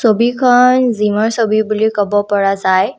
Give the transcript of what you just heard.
ছবিখন জিমৰ ছবি বুলি ক'ব পৰা যায়।